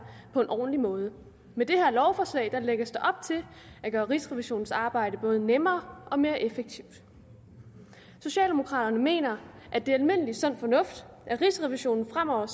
på en ordentlig måde med det her lovforslag lægges der op til at gøre rigsrevisionens arbejde både nemmere og mere effektivt socialdemokraterne mener at det er almindelig sund fornuft at rigsrevisionen fremover